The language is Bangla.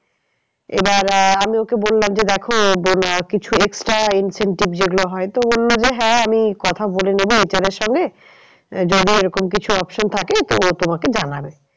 এবার আহ আমি ওকে বললাম যে দেখো কিছু extra incentive যেগুলো হয় তো বললো যে হ্যাঁ আমি কথা বলে নেবো HR এর সঙ্গে যদি এরকম কিছু option থাকে তো ও তোমাকে জানাবে।